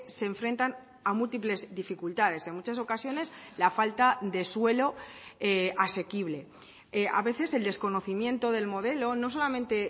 se enfrentan a múltiples dificultades en muchas ocasiones la falta de suelo asequible a veces el desconocimiento del modelo no solamente